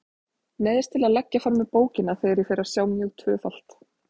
Neyðist til að leggja frá mér bókina þegar ég fer að sjá mjög tvöfalt.